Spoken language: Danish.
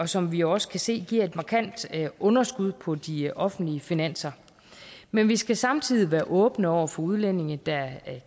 som vi også kan se giver et markant underskud på de offentlige finanser men vi skal samtidig være åbne over for udlændinge der